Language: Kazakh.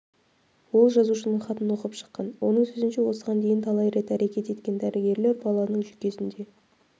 ол жазушының хатын оқып шыққан оның сөзінше осыған дейін талай рет әрекет еткен дәрігерлер баланың жүйкесінде